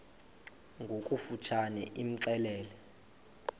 ngokofu tshane imxelele